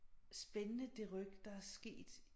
Spændende det ryk der er sket